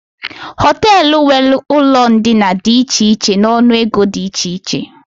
Hoteelu nwéré ụlọ ndina dị iche iche n'ọnụ ego dị iche iche